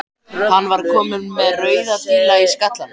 Hann var kominn með rauða díla á skallann.